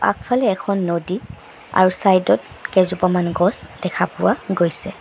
আগফালে এখন নদী আৰু চাইদ ত কেইজোপামান গছ দেখা পোৱা গৈছে।